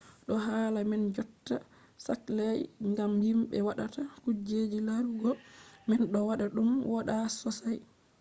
ɗo hala man jotta saklai ngam himɓe waɗata kuje larugo man ɗo waɗa ɗum wooɗa sosai